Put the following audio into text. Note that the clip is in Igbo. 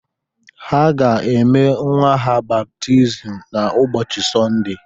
Ha ga-eme nwa ha baptizim n’ụbọchị Sọnde